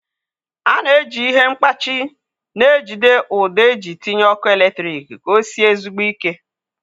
A na-eji ihe mkpachị na-ejide ụdọ eji tinye ọkụ eletrik ka osie ezigbo ike